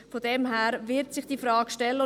Diese Frage wird sich deshalb stellen.